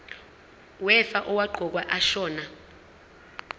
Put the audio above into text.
wefa owaqokwa ashona